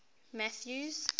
mathews